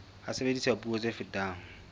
ha sebediswa puo tse fetang